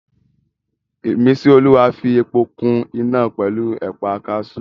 Ìmísíolúwa fi epo kún iná pẹ̀lú ẹ̀pà kaasú